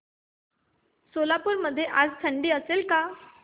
सोलापूर मध्ये आज थंडी असेल का